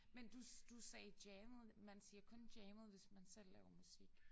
Men du du sagde jammede man siger kun jammede hvis man selv laver musik